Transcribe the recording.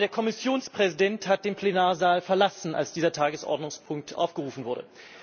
Aber der Kommissionspräsident hat den Plenarsaal verlassen, als dieser Tagesordnungspunkt aufgerufen wurde.